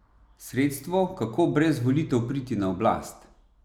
Sredstvo, kako brez volitev priti na oblast.